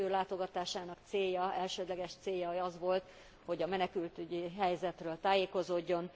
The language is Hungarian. Az ő látogatásának elsődleges célja az volt, hogy a menekültügyi helyzetről tájékozódjon.